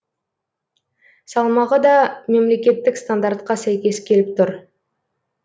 салмағы да мемлекеттік стандартқа сәйкес келіп тұр